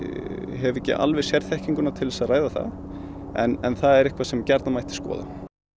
hef ekki alveg sérþekkinguna til að ræða það en það er eitthvað sem gjarnan mætti skoða